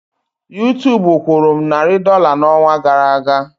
YouTube kwụrụ m narị dọla n'ọnwa gara aga.